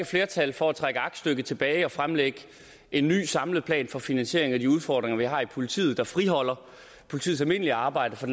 flertal for at trække aktstykket tilbage og fremlægge en ny samlet plan for finansieringen af de udfordringer vi har i politiet og friholde politiets almindelige arbejde for